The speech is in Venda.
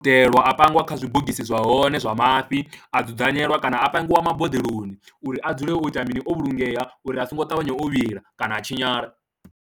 Itelwa a pangiwa kha zwibogisi zwa hone zwa mafhi, a dzudzanyelwa kana a pangiwa maboḓelo koni uri a dzule o ita mini o vhulungeya uri a songo ṱavhanya o vhila kana a tshinyala.